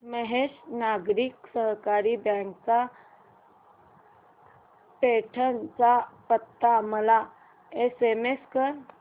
महेश नागरी सहकारी बँक चा पैठण चा पत्ता मला एसएमएस कर